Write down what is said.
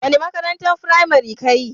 Wani makarantan firamari ka yi?